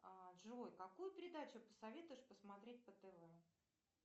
джой какую передачу посоветуешь посмотреть по тв